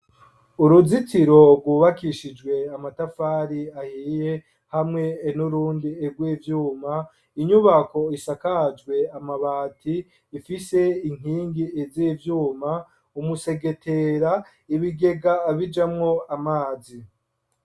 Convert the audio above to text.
Uruzitiro rw’ubakishijwe amatafari ahiye hamwe nurundi rw'ivyuma inyubako isakajwe amabati ifise inkingi z'ivyuma umusegetera, ibigega bijamwo amazi.